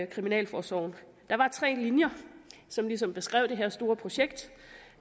kriminalforsorgen der var tre linjer som ligesom beskrev det her store projekt og